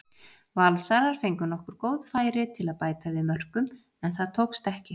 Valsarar fengu nokkur góð færi til að bæta við mörkum en það tókst ekki.